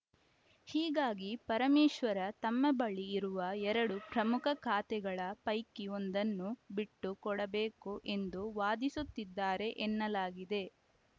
ಹೀಗಾಗಿ ಪರಮೇಶ್ವರ ತಮ್ಮ ಬಳಿ ಇರುವ ಎರಡು ಪ್ರಮುಖ ಖಾತೆಗಳ ಪೈಕಿ ಒಂದನ್ನು ಬಿಟ್ಟುಕೊಡಬೇಕು ಎಂದು ವಾದಿಸುತ್ತಿದ್ದಾರೆ ಎನ್ನಲಾಗಿದೆ